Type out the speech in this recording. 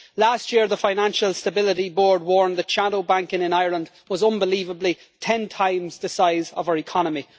Last year the Financial Stability Board warned that shadow banking in Ireland was, unbelievably, 10 times the size of our economy.